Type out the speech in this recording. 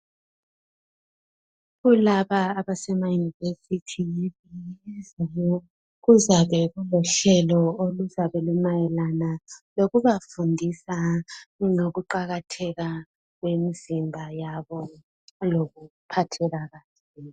Kulaba abasemayunivesithi kuzabe kulohlelo oluzabe lumayelana lokubafundisa ngokuqakatheka kwemizimba yabo lokuphatheka.